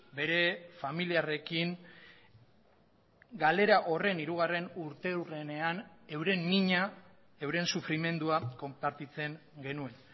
bere familiarrekin galera horren hirugarren urteurrenean euren mina euren sufrimendua konpartitzen genuen